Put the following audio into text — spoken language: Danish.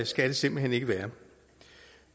skal det simpelt hen ikke være